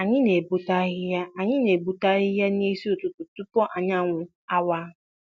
Anyị na-egbutu ahịhịa Anyị na-egbutu ahịhịa n'isi ụtụtụ tupu anyanwụ awa.